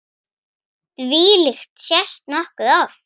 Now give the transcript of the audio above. Þvílíkt sést nokkuð oft.